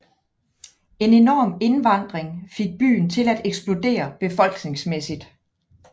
En enorm indvandring fik byen til at eksplodere befolkningsmæssigt